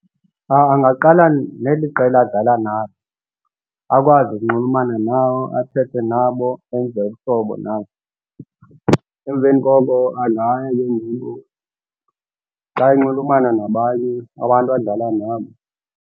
Angaqala neli qela adlala nalo akwazi ukunxulumana nabo athethe nabo enze ubuhlobo nabo. Emveni koko angaya ke ngoku xa enxulumana nabanye abantu adlala nabo.